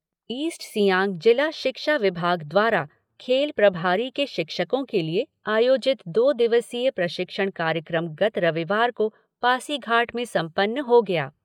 East Siang जिला शिक्षा विभाग द्वारा खेल प्रभारी के शिक्षको के लिए आयोजित दो दिवसीय प्रशिक्षण कार्यक्रम गत रविवार को पासीघाट में संपन्न हो गया।